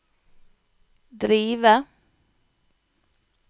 drive